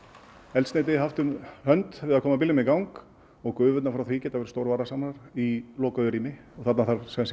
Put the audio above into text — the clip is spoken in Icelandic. eldsneyti haft um hönd við að koma bílnum í gang og gufurnar frá því geta verið í lokuðu rými og þarna þarf sem